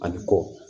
Ani kɔ